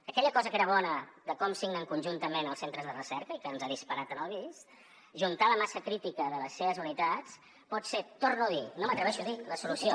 aquella cosa que era bona de com signen conjuntament els centres de recerca i que ens ha disparat en el bist ajuntar la massa crítica de les seves unitats pot ser ho torno a dir no m’atreveixo a dir la solució